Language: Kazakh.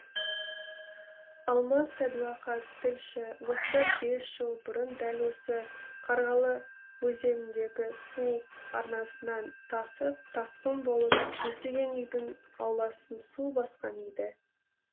алмас сәдуақас тілші осыдан бес жыл бұрын дәл осы қарғалы өзеніндегі су арнасынан тасып тасқын болып жүздеген үйдің ауласын су басқан еді